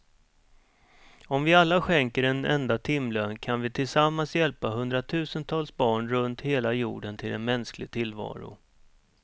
Om vi alla skänker en enda timlön kan vi tillsammans hjälpa hundratusentals barn runt hela jorden till en mänsklig tillvaro.